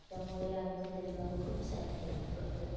त्यामुळे आम्ही तिथे जाऊन खूप सारी खरेदी करतो.